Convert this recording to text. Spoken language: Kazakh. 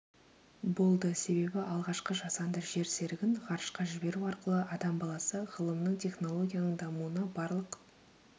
болды себебі алғашқы жасанды жер серігін ғарышқа жіберу арқылы адам баласы ғылымның технологияның дамуына барлық